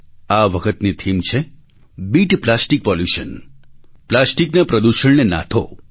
આ વખતની થીમ છે બીટ પ્લાસ્ટિક પોલ્યુશન પ્લાસ્ટિકના પ્રદૂષણને નાથો